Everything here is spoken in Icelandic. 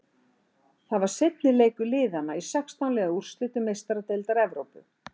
Þetta var seinni leikur liðana í sextán liða úrslitum Meistaradeildar Evrópu.